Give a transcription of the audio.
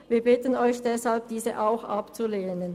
Wir bitten Sie deshalb, auch diese abzulehnen.